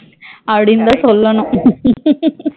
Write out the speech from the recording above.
அப்டினுதா சொல்லணும்